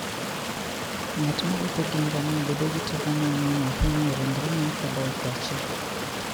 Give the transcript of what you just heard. Ng'at mowuotho gi ngamia bedo gi teko mang'eny ahinya e ringrene koda e pache.